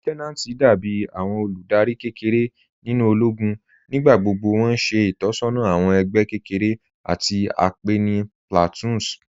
Lieutenanti dàbí àwọn olúdárì kẹ́kẹ̀rẹ̀ nínu òlógún. Nígbàgbọ́gbọ́ wọn ṣẹ̀ itọsọna àwọn ẹgbẹ kẹ́kẹ̀rẹ̀ tí a pẹ̀ ní "platoons"